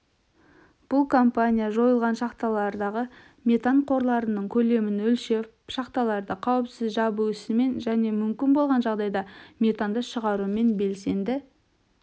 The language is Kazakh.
бұл компания жойылған шахталардағы метан қорларының көлемін өлшеп шахталарды қауіпсіз жабу ісімен және мүмкін болған жағдайда метанды шығарумен белсенді